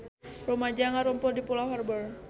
Rumaja ngarumpul di Pulau Harbour